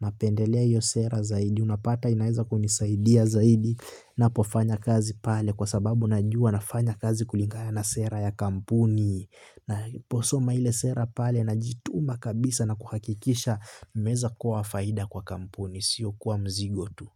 Napendelea hio sera zaidi. Unapata inaeza kunisaidia zaidi ninapofanya kazi pale kwa sababu najua nafanya kazi kulingana na sera ya kampuni. Ninaposoma ile sera pale najituma kabisa na kuhakikisha nimeweza kuwa faida kwa kampuni. Sio kuwa mzigo tu.